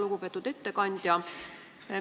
Lugupeetud ettekandja!